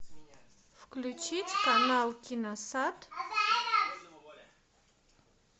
включить канал киносад